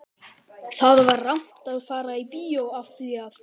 Það var rangt að fara í bíó af því að